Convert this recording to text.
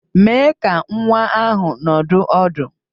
Mèé ka nwa ahụ nọdụ ọdụ